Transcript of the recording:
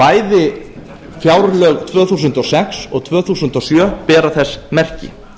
bæði fjárlög tvö þúsund og sex og tvö þúsund og sjö bera þess merki